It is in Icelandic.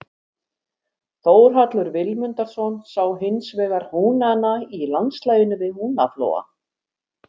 Þórhallur Vilmundarson sá hinsvegar húnana í landslaginu við Húnaflóa.